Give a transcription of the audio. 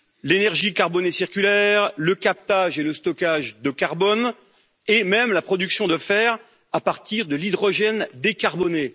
l'énergie carbonée circulaire, le captage et le stockage de carbone et même la production de fer à partir de l'hydrogène décarboné.